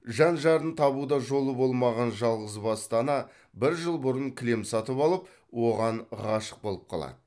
жан жарын табуда жолы болмаған жалғызбасты ана бір жыл бұрын кілем сатып алып оған ғашық болып қалады